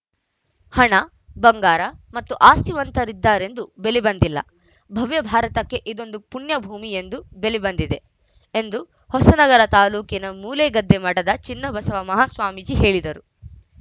ಹಣ ಬಂಗಾರ ಮತ್ತು ಆಸ್ತಿವಂತರಿದ್ದಾರೆಂದು ಬೆಲೆ ಬಂದಿಲ್ಲ ಭವ್ಯ ಭಾರತಕ್ಕೆ ಇದೊಂದು ಪುಣ್ಯ ಭೂಮಿ ಎಂದು ಬೆಲೆ ಬಂದಿದೆ ಎಂದು ಹೊಸ ನಗರ ತಾಲೂಕಿನ ಮೂಳೆಗದ್ದೆ ಮಠದ ಚಿನ್ನಬಸವ ಮಹಾಸ್ವಾಮಿ ಹೇಳಿದರು